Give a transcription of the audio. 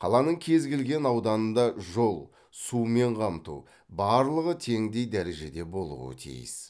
қаланың кез келген ауданында жол сумен қамту барлығы теңдей дәрежеде болуы тиіс